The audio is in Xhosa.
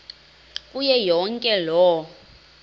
kuyo yonke loo